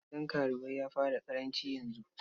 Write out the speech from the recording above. Gidan karuwai ya fara ƙaranci yanzu.